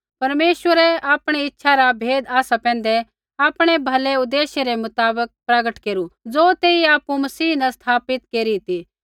परमेश्वरै आपणी इच्छा रा भेद आसा पैंधै आपणै भलै उदेश्य रै मुताबक प्रगट केरू ज़ो तेइयै आपु मसीह न स्थापित केरी ती